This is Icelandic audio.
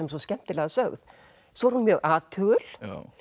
svo skemmtilega sögð svo er hún mjög athugul